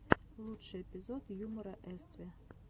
лучший эпизод юмора эстиви